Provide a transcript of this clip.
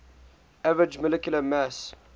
average molecular mass